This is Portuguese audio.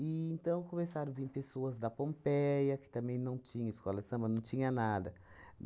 então, começaram vim pessoas da Pompeia, que também não tinha escola de samba, não tinha nada.